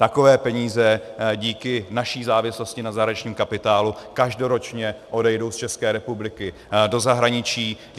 Takové peníze díky naší závislosti na zahraničním kapitálu každoročně odejdou z České republiky do zahraničí.